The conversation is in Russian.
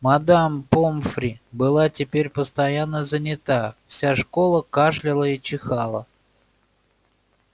мадам помфри была теперь постоянно занята вся школа кашляла и чихала